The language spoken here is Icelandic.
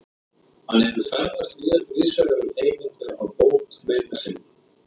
Hann hefur ferðast víðsvegar um heiminn til að fá bót meina sinna.